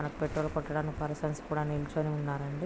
మనకు పెట్రోల్ కొట్టడానికి పర్సన్స్ కూడా నిల్చుని ఉన్నారండి.